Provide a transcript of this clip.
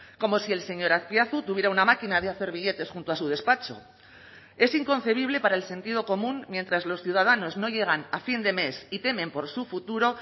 como si el señor azpiazu tuviera una máquina de hacer billetes junto a su despacho es inconcebible para el sentido común mientras los ciudadanos no llegan a fin de mes y temen por su futuro